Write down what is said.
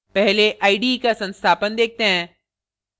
पहले ide का संस्थापन देखते हैं